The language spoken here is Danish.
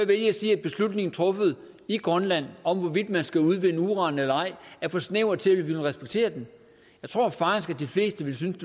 vælge at sige at en beslutning truffet i grønland om hvorvidt man skal udvinde uran eller ej er for snæver til at vi vil respektere den jeg tror faktisk de fleste ville synes